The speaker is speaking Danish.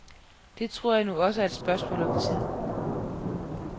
Det tror jeg nu også er et spørgsmål om tid.